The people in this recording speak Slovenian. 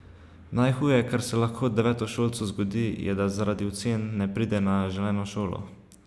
Najhuje, kar se lahko devetošolcu zgodi, je, da zaradi ocen ne pride na želeno šolo.